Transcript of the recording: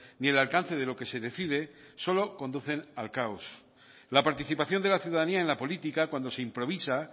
ni el alcance de lo que se decide solo conducen al caos la participación de la ciudadanía en la política cuando se improvisa